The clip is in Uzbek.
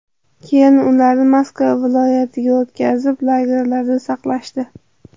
Keyin ularni Moskva viloyatiga o‘tkazib, lagerlarda saqlashdi.